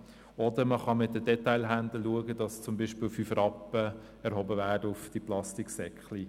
Man kann auch mit den Detailhändlern schauen, dass zum Beispiel eine Gebühr von 5 Rappen auf Plastiksäcken erhoben wird.